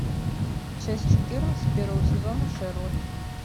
часть четырнадцать первого сезона шерлок